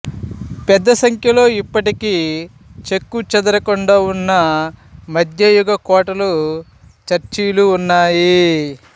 పెద్ద సంఖ్యలో ఇప్పటికీ చెక్కుచెదరకుండా ఉన్న మధ్యయుగ కోటలు చర్చిలు ఉన్నాయి